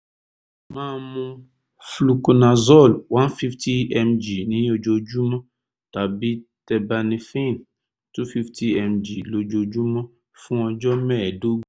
máa mu fluconazole one fifty mg ní ojoojúmọ́ tàbí terbinafine two fifty mg lójoojúmọ́ fún ọjọ́ mẹ́ẹ̀ẹ́dógún